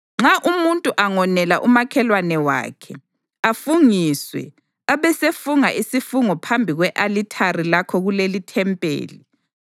Nxa umuntu angonela umakhelwane wakhe, afungiswe, abesefunga isifungo phambi kwe-alithari lakho kulelithempeli,